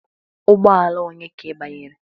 Ụgbọ ala onye ka ị banyere?